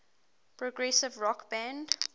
progressive rock band